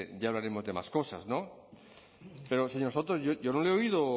de de más cosas pero señor soto yo no le he oído